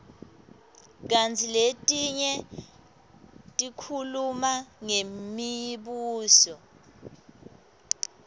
kantsi letinye tikhuluma ngemibuso